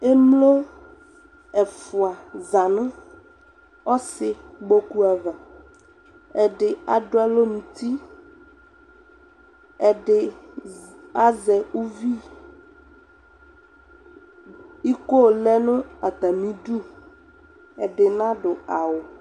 Emlo ɛfua za no ɔsekpoku ava, Ɛde ado alɔ nuti, ɛde zza, azɛ ouviIkoo lɛ no atane duƐde nado awu